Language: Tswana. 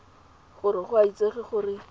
gore go a itsege gore